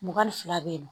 Mugan ni fila bɛ yen nɔ